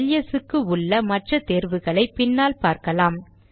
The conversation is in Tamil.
எல்எஸ் க்கு உள்ள மற்ற தேர்வுகளை பின்னால் பார்க்கலாம்